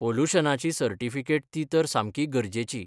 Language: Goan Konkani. पोलुशनाची सर्टिफिकेट ती तर सामकी गरजेची.